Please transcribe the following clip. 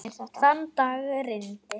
Þann dag rigndi.